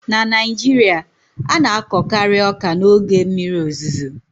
na Naijiria, a na-akọkari ọka n'oge mmiri ozuzo